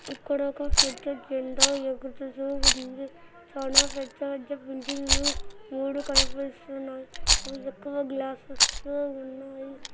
ఇక్కడ ఒక పెద్ద బుల్డా ఎక్కడ చూసిన అక్కడుంది. చాల పెద్ద పెద్ద బిల్డింగ్స్ మూడు కనిపిస్తున్నాయి.ఎక్కువ గ్లాసుతో ఉన్నాయి.